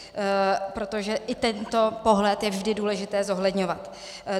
Protože i tento pohled je vždy důležité zohledňovat.